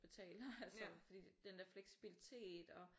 Betale og altså fordi den der fleksibilitet og